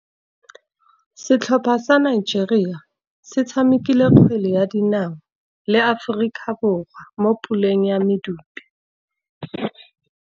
Setlhopha sa Nigeria se tshamekile kgwele ya dinaô le Aforika Borwa mo puleng ya medupe.